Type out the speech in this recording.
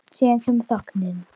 Síðan kemur þögnin.